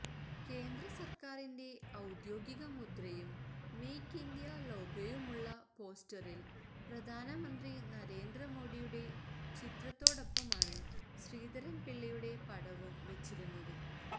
കേന്ദ്ര സര്ക്കാരിന്റെ ഔദ്യോഗിക മുദ്രയും മേക്ക് ഇന്ത്യ ലോഗോയുമുള്ള പോസ്റ്ററില് പ്രധാനമന്ത്രി നരേന്ദ്രമോഡിയുടെ ചിത്രത്തോടൊപ്പമാണ് ശ്രീധരന്പിള്ളയുടെ പടവും വെച്ചിരുന്നത്